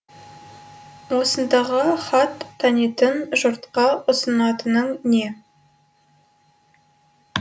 осындағы хат танитын жұртқа ұсынатының не